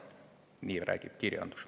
Nii räägib kirjandus.